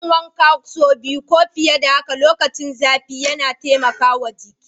Yin wanka saubi ko fiye da haka lokacin zafi yana taimakawa jiki.